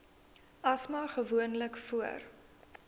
asma gewoonlik voor